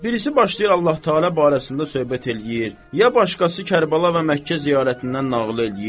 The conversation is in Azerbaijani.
Birisi başlayır Allah-taala barəsində söhbət eləyir, ya başqası Kərbəla və Məkkə ziyarətindən nağıl eləyir.